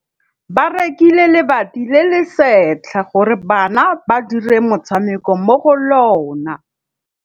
Ba rekile lebati le le setlha gore bana ba dire motshameko mo go lona.